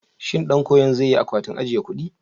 Shin ɗan koyon zai yi akwatin ajiye kuɗi?